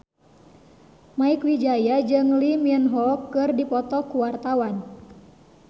Mieke Wijaya jeung Lee Min Ho keur dipoto ku wartawan